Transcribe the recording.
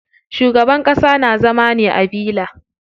Shugaban ƙasa na zama ne a villa.